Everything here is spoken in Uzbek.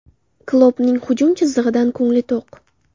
Kloppning hujum chizig‘idan ko‘ngli to‘q.